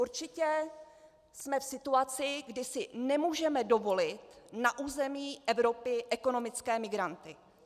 Určitě jsme v situaci, kdy si nemůžeme dovolit na území Evropy ekonomické migranty.